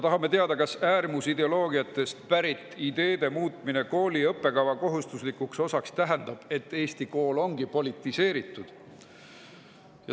Tahame teada, kas äärmusideoloogiatest pärit ideede muutmine kooli õppekava kohustuslikuks osaks tähendab, et Eesti kool ongi politiseeritud.